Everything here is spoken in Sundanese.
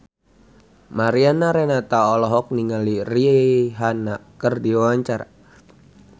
Mariana Renata olohok ningali Rihanna keur diwawancara